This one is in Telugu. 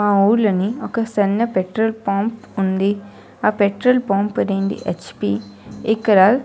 ఆ ఉళ్ళని సన్న పెట్రోల్ పంప్ ఉన్నది ఆ పెట్రోల్ పంప్ హెచ్_పి ఇక్కడ --